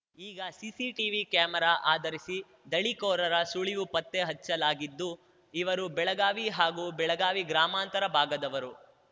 ಈಗ CCTV camera ಆಧರಿಸಿ ದಳಿಕೋರರ ಸುಳಿವು ಪತ್ತೆ ಹಚ್ಚಲಾಗಿದ್ದು ಇವರು ಬೆಳಗಾವಿ ಹಾಗೂ ಬೆಳಗಾವಿ ಗ್ರಾಮಾಂತರ ಭಾಗದವರು